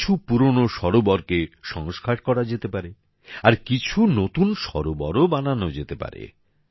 কিছু পুরানো সরোবরকে সংস্কার করা যেতে পারে আর কিছু নতুন সরোবরও বানানো যেতে পারে